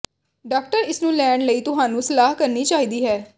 doctor ਇਸ ਨੂੰ ਲੈਣ ਲਈ ਤੁਹਾਨੂੰ ਸਲਾਹ ਕਰਨੀ ਚਾਹੀਦੀ ਹੈ